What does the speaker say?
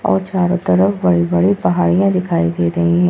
और चारों तरफ बड़ी-बड़ी पहाड़ियां दिखाई दे रही है।